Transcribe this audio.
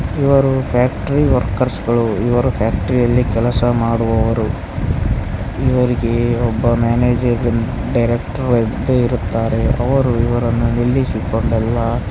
ಇವರು ಫ್ಯಾಕ್ಟರಿ ವರ್ಕರ್ಸ್ಗ ಳು ಇವರು ಫ್ಯಾಕ್ಟರಿ ಅಲ್ಲಿ ಕೆಲಸ ಮಾಡುವವರು ಇವರಿಗೆ ಒಬ್ಬ ಮ್ಯಾನೇಜರ್ ಇ ಡೈರೆಕ್ಟರ್ ಇದ್ದು ಇರುತ್ತಾರೆ ಅವರು ಇವರನ್ನು ನಿಲ್ಲಿಸಿಕೊಂಡೆಲ್ಲಾ --